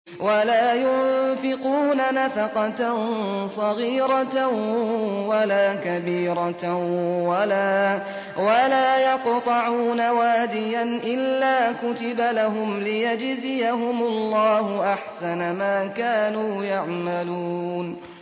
وَلَا يُنفِقُونَ نَفَقَةً صَغِيرَةً وَلَا كَبِيرَةً وَلَا يَقْطَعُونَ وَادِيًا إِلَّا كُتِبَ لَهُمْ لِيَجْزِيَهُمُ اللَّهُ أَحْسَنَ مَا كَانُوا يَعْمَلُونَ